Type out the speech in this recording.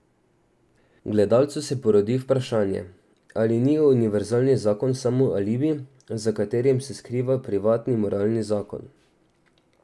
Gledalcu se porodi vprašanje, ali ni univerzalni zakon samo alibi, za katerim se skriva privatni moralni zakon?